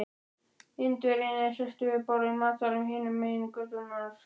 Indverjinn er sestur við borð í matsalnum hinum megin götunnar.